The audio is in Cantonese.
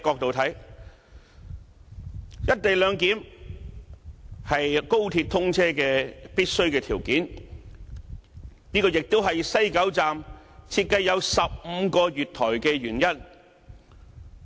從務實的角度來看，"一地兩檢"是高鐵通車的必須條件。這個亦是西九站設計有15個月台的原因。